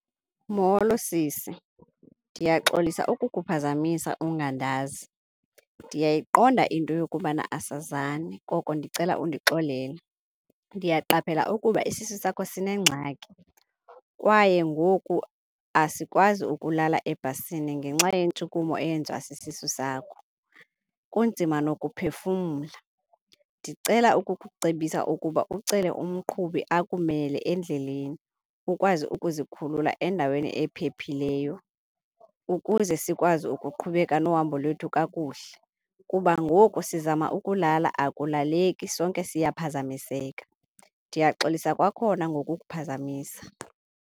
Molo sisi, ndiyaxolisa ukukuphazamisa ungandazi. Ndiyayiqonda into yokubana asazani koko ndicela undixolele. Ndiyaqaphela ukuba esisu sakho sinengxaki kwaye ngoku asikwazi ukulala ebhasini ngenxa yentshukumo eyenziwa sisisu sakho, kunzima ngokuphefumla. Ndicela ukukucebisa ukuba ucele umqhubi akumele endleleni ukwazi ukuzikhulula endaweni ephephileyo ukuze sikwazi ukuqhubeka nohambo lwethu kakuhle kuba ngoku sizama ukulala, akulaleki sonke siyaphazamiseka. Ndiyaxolisa kwakhona ngokukuphazamisa.